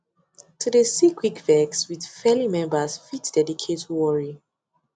to de see quick vex with faily members fit dedicate worry